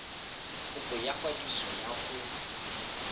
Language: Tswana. kopo ya kwadiso ya go